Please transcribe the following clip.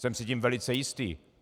Jsem si tím velice jistý.